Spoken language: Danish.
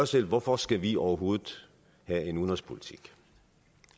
selv hvorfor skal vi overhovedet have en udenrigspolitik